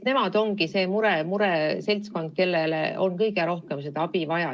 Nemad moodustavadki selle mureseltskonna, kellele on sellisel kujul kõige rohkem abi vaja.